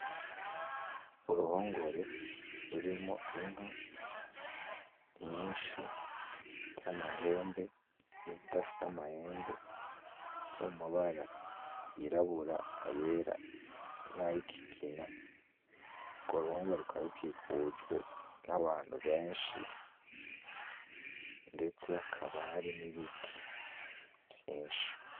Uruhongore rurimwo inka nyinshi z'amahembe nizidafise amahembe zo mu mabara yirabura ;ayera nay'ikigina. Urwo ruhongore rukaba rukikujwe n'abantu benshi, ndetse hakaba hari n'ibiti vyinshi.